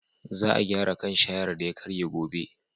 Za a gyara kan shayar da ya karye gobe.